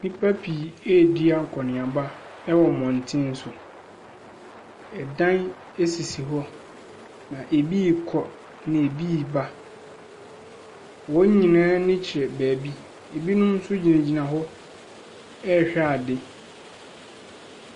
Nnipa pii redi akɔneaba wɔ mmɔntene so. Ɛdan sisi hɔ. Na ɛbi rekɔ na ɛbi reba. Wɔn nyinaa ani kyerɛ baabi. Binom nso gyinagyinahɔ rehwɛ adeɛ.